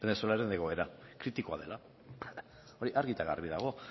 venezuelaren egoera kritikoa dela hori argi eta garbi dago